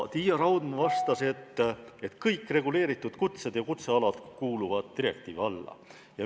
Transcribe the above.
Tiia Raudma vastas, et kõik reguleeritud kutsed ja kutsealad kuuluvad direktiivi alla.